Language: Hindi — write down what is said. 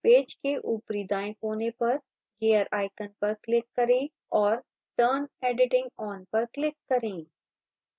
पेज के ऊपरी दाएं कोने पर gear icon पर click करें और turn editing on पर click करें